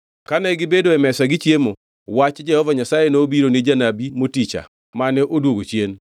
Kane gibedo e mesa gichiemo, wach Jehova Nyasaye nobiro ni janabi moticha mane odwogo chien.